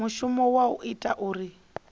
mushumo wa u ita uri